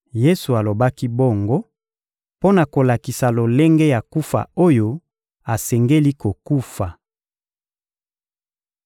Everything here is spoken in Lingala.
Yesu alobaki bongo mpo na kolakisa lolenge ya kufa oyo asengeli kokufa.